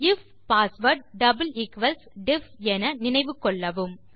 if password double equals def என நினைவு கொள்ளவும்